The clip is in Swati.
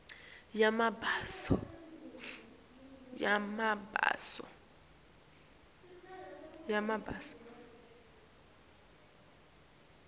yamabaso